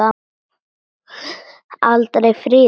Aldrei friður.